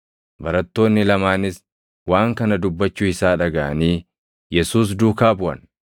Barattoonni lamaanis waan kana dubbachuu isaa dhagaʼanii Yesuus duukaa buʼan.